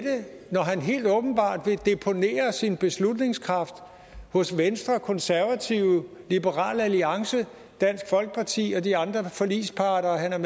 når han helt åbenbart vil deponere sin beslutningskraft hos venstre og konservative liberal alliance dansk folkeparti og de andre forligsparter han er